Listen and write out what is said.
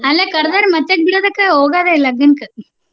ಅಲ್ಲ ಮತ್ಯಾಕ ಬಿಡ್ಬೇಕ್ ಹೋಗೋದೇ ಲಗ್ನಕ್ಕ್.